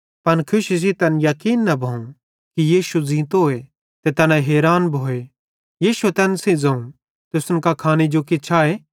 पन खुशी सेइं तैन याकीन न भोवं कि यीशु ज़ींतोए ते तैना हैरान भोए यीशुए तैन सेइं ज़ोवं तुसन कां खाने जो किछ आए